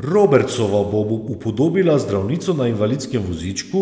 Robertsova bo upodobila zdravnico na invalidskem vozičku,